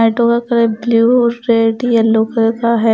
Auto का colour blue red yellow colour का है ।